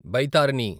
బైతారని